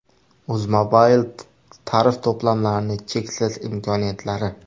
Uzmobile tarif to‘plamlarining cheksiz imkoniyatlari!.